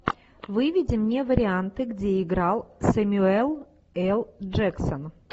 выведи мне варианты где играл сэмюэл л джексон